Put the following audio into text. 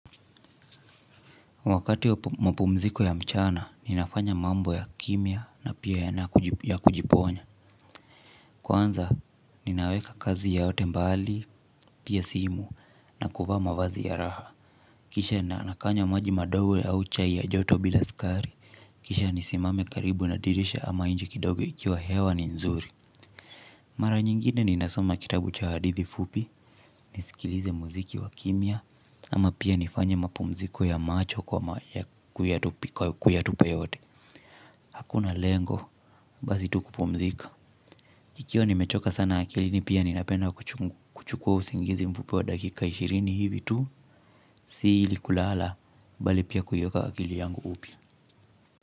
Wakati wa mapumziko ya mchana, ninafanya mambo ya kimya na pia ya kujiponya. Kwanza, ninaweka kazi yote mbali, pia simu, na kuvaa mavazi ya raha. Kisha na nakanya maji madogo au chai ya joto bila sukari. Kisha nisimame karibu na dirisha ama inje kidogo ikiwa hewa ni nzuri. Mara nyingine ninasoma kitabu cha hadithi fupi, nisikilize muziki wa kimya, ama pia nifanye mapumziko ya macho kwa kuyatupa yote. Hakuna lengo, bali tu kupumzika. Ikiwa nimechoka sana akilini pia ninapenda kuchukua usingizi mfupi wa dakika ishirini hivi tu. Si ili kulala, bali pia kuiweka akili yangu upya.